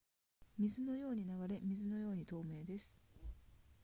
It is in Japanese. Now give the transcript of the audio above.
水のように流れ水のように透明です